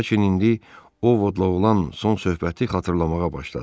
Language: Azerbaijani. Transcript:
Lakin indi Ovodla olan son söhbəti xatırlamağa başladı.